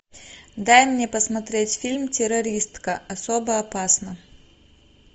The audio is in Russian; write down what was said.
дай мне посмотреть фильм террористка особо опасна